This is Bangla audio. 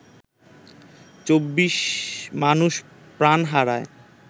২৪ মানুষ প্রাণ হারায়